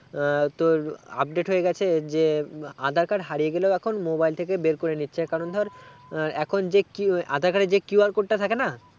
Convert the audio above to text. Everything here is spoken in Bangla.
আহ তোর update হয়ে গেছে যে aadhar card হারিয়ে গেলেও এখন mobile থেকে বেরকরে নিচ্ছে কারণ ধর এখন যে aadhaar card এ যে QR code টা থেকে না